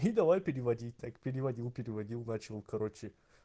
давай переводить так переводил переводил начал короче